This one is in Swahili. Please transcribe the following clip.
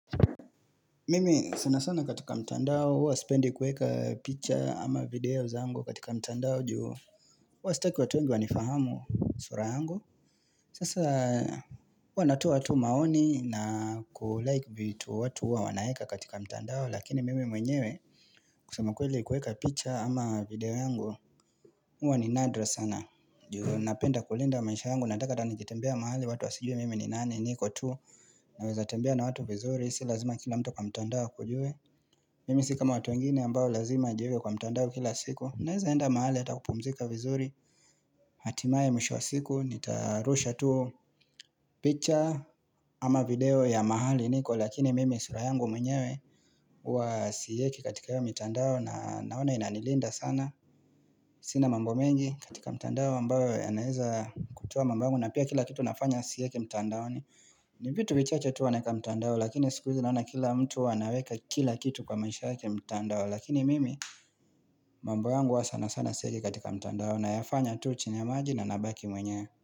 Mimi sanasana katika mtandao huwa spendi kueka picha ama video zangu katika mtandao Huwa staki watuwengi wanifahamu sura yangu Sasa huwa natoa tu maoni na kulike vitu watu huwa wanaweka katika mtandao lakini mimi mwenyewe kusema kweli kuweka picture ama video yangu huwa ni nadra sana Napenda kulinda maisha yangu nataka hata nikitembea mahali watu wasijue mimi ni nani niko tu Naweza tembea na watu vizuri si lazima kila mtu kwa mtandao akujue Mimi sikama watuwengine ambao lazima wajiweke kwa mtandao kila siku Naweza enda mahali atakupumzika vizuri Hatimaye misho wa siku Nitarusha tu picha ama video ya mahali niko Lakini mimi surayangu mwenyewe Uwa siyeki katika hiyo mitandao na naona inanilinda sana Sina mambo mengi katika mtandao ambao yanaweza kutoa mambo yangu na pia kila kitu nafanya siweki mtandaoni ni vitu vichache tu huwa naweka mtandao Lakini sikuizi naona kila mtu wanaweka kila kitu kwa maisha yake mtandao Lakini mimi mambo yangu huwa sana sana siweki katika mtandao na yafanya tu chini ya maji na nabaki mwenye.